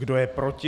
Kdo je proti?